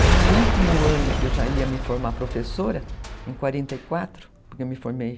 Aí no último ano que eu já ia me formar professora, em quarenta e quatro, porque eu me formei,